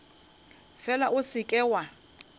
fela o se ke wa